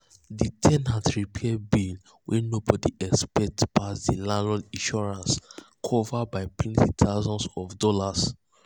the ten ant repair bill wey um nobody expect pass the landlord insurance cover um by plenty thousands of dollars.